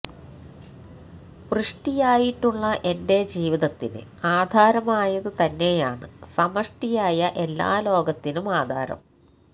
വൃഷ്ടിയായിട്ടുള്ള എന്റെ ജീവിതത്തിന് ആധാരമായത് തന്നെയാണ് സമഷ്ടിയായ എല്ലാ ലോകത്തിനും ആധാരം